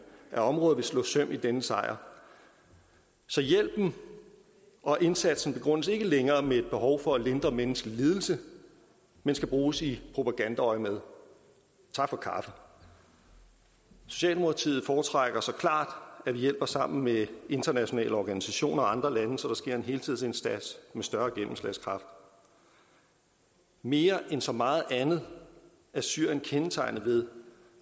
af området vil slå søm i denne sejr så hjælpen og indsatsen begrundes ikke længere med et behov for at lindre menneskelig lidelse men skal bruges i propagandaøjemed tak for kaffe socialdemokratiet foretrækker så klart at vi hjælper sammen med internationale organisationer og andre lande så der sker en helhedsindsats med større gennemslagskraft mere end så meget andet er syrien kendetegnet ved